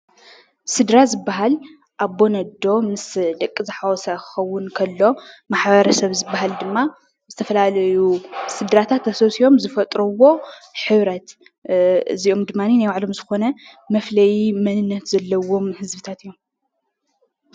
ስድራ ዝበሃል ኣቦን ኣዶን ምስ ደቂ ዝሓወሰ እንትኸውን ከሎ ማሕበረሰብ ዝበሃል ድማ ዝተፈላለዩ ስድራታት ተሰብሲቦም ዝፈጥርዎ ሕብረት እዚኦም ድማኒ ናይ ባዕሉ ዝኾነ መፍለዪ መንነት ዘለዎ ህዝብታት እዮም።